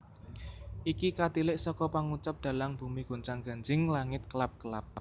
Iki katilik seka pangucap dhalang bumi gonjang ganjing langit kelap kelap